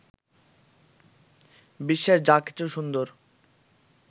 বিশ্বের যা কিছু সুন্দর